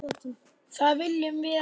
Það viljum við ekki!